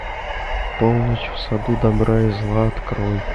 полночь в саду добра и зла открой